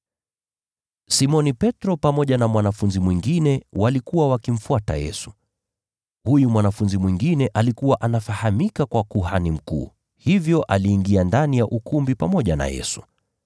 Simoni Petro pamoja na mwanafunzi mwingine walikuwa wakimfuata Yesu. Huyu mwanafunzi mwingine alikuwa anafahamika kwa kuhani mkuu, hivyo aliingia ndani ya ukumbi pamoja na Yesu.